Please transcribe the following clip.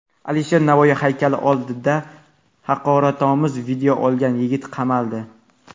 Alisher Navoiy haykali oldida haqoratomuz video olgan yigit qamaldi.